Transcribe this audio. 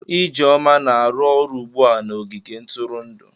Ijeoma na-arụ ọrụ ugbu a na ogige ntụrụndụ.